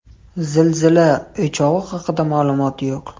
Zilzila o‘chog‘i haqida ma’lumot yo‘q.